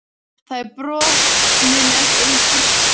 Þar er botninn ekki eins grýttur